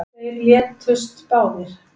Þeir létust báðir